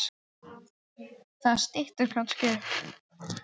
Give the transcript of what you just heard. Það styttir kannski upp.